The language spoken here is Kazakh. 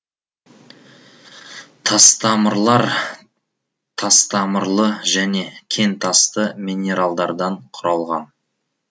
тастамырлар тастамырлы және кентасты минералдардан құралған